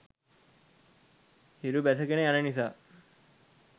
හිරු බැසගෙන යන නිසා